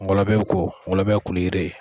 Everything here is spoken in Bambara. Mɔgɔ labɛn ko , mɔgɔ labɛn ye koli yiri ye.